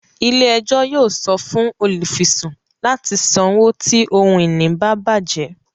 Ilé-ẹjọ yóò sọ fún olufisun láti sanwo ti ohun-ìní ba bajẹ